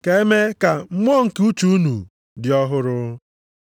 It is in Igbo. ka eme ka mmụọ nke uche unu dị ọhụrụ.